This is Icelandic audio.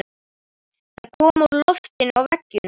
Þær koma úr loftinu og veggjunum.